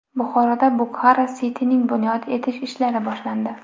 Buxoroda Bukhara City’ni bunyod etish ishlari boshlandi.